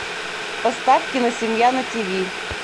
поставь киносемья на тиви